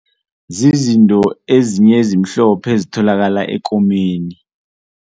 Zizinto ezinye ezimhlophe ezitholakala ekomeni.